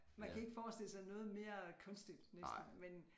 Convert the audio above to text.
Man kan ikke forestille sig noget mere kunstigt næsten men